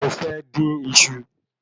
Mo fẹ́ dín iṣu